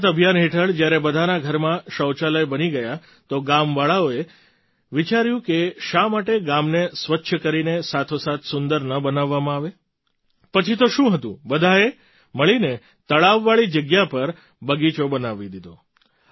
સ્વચ્છ ભારત અભિયાન હેઠળ જ્યારે બધાના ઘરમાં શૌચાલય બની ગયાં તો ગામવાળાઓએ વિચાર્યું કે શા માટે ગામને સ્વચ્છ કરીને સાથોસાથ સુંદર ન બનાવવામાં આવે પછી તો શું હતું બધાએ મળીને તળાવવાળી જગ્યા પર બગીચો બનાવી દીધો